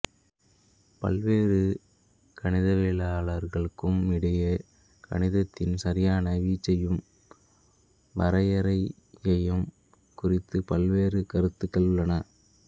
பல்வேறு கணிதவியலாளர்களுக்கும் இடையே கணிதத்தின் சரியான வீச்சையும் வரையறையையும் குறித்து பல்வேறு கருத்துக்கள் உள்ளன